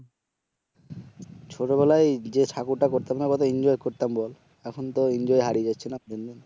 ছোটবেলায় যে ঠাকুরটা করতাম না কত এনজয় করতাম বল এখন তো এনজয় হারিয়ে যাচ্ছে না দিনদিন